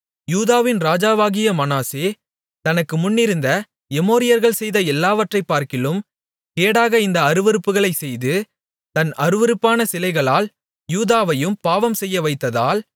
யூதாவின் ராஜாவாகிய மனாசே தனக்கு முன்னிருந்த எமோரியர்கள் செய்த எல்லாவற்றைப்பார்க்கிலும் கேடாக இந்த அருவருப்புகளைச் செய்து தன் அருவருப்பான சிலைகளால் யூதாவையும் பாவம் செய்யவைத்ததால்